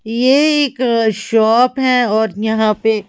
ये एक शॉप है और यहां पे--